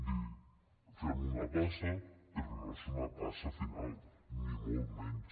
dir fem una passa però no és una passa final ni molt menys